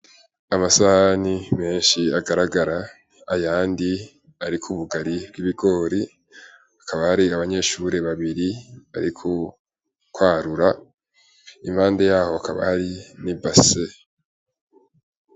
Amasahani menshi agaragara, ayandi ariko ubugari bw'ibigori, hakaba hari abanyeshure babiri bari kwarura, iruhande yabo hakaba hari n'ibase.